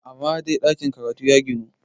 amma dai ɗakin karatu ya ginu!